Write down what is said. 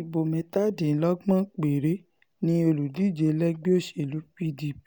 ibo mẹ́tàdínlọ́gbọ̀n péré ni olùdíje lẹ́gbẹ́ òsèlú pdp